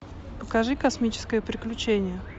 покажи космическое приключение